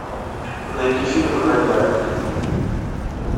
найти фильмы гайдая